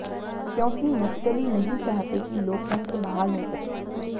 क्योंकि नक्सली नहीं चाहते कि लोकतंत्र बहाल हो सके